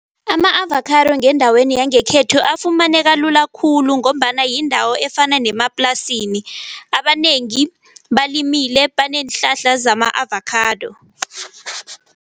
Ama-avakhado ngendaweni yangekhethu afumaneka lula khulu ngombana yindawo efana nemaplasini. Abanengi balimele baneenhlahla zama-avakhado.